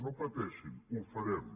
no pateixin ho farem